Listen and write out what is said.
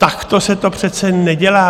Takto se to přece nedělá.